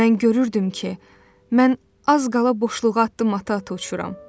Mən görürdüm ki, mən az qala boşluğa addım ata-ata uçuram.